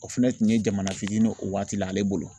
O fɛnɛ tun ye jamana fitinin ye o waati la ale bolo